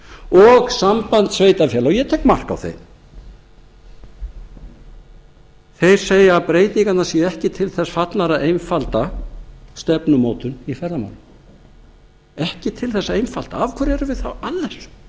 og samband sveitarfélaga og ég tek mark á þeim þeir segja að breytingarnar séu ekki til þess fallnar að einfalda stefnumótun í ferðamálum ekki til þess að einfalda af hverju erum við þá að